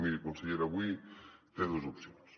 miri consellera avui té dos opcions